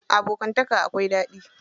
Abokanta akwai daɗi.